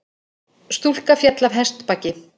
Stúlka féll af hestbaki